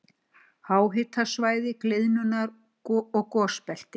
Háhitasvæði- gliðnunar- og gosbelti